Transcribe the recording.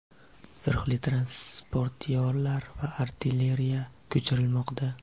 zirhli transportyorlar va artilleriya ko‘chirilmoqda.